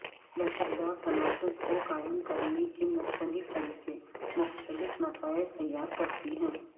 لچکدار تناسب کو قائم کرنے کے مختلف طریقے مختلف نتائج تیار کرتی ہیں